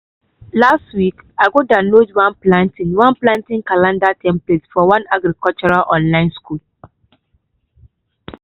last week i go download one planting one planting calendar template from one agricultural online school.